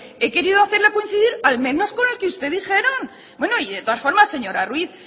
he querido hacerlo coincidir al menos con el que ustedes dijeron bueno y de todas formas señora ruíz